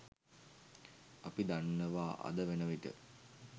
අපි දන්නවා අද වන විට